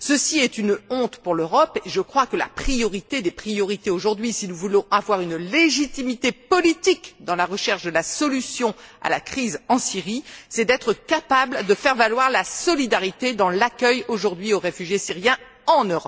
Ceci est une honte pour l'Europe et je crois que la priorité des priorités, aujourd'hui, si nous voulons avoir une légitimité politique dans la recherche de la solution à la crise en Syrie, c'est d'être capables de faire jouer la solidarité dans l'accueil, aujourd'hui, aux réfugiés syriens, en